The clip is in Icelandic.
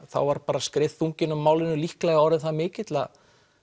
þá var bara skriðþunginn á málinu líklega orðinn það mikill að